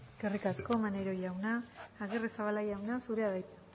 eskerrik asko maneiro jauna agirrezabala jauna zurea da hitza